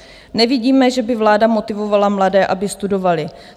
Nevidíme, že by vláda motivovala mladé, aby studovali.